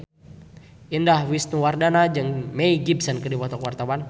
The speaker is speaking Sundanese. Indah Wisnuwardana jeung Mel Gibson keur dipoto ku wartawan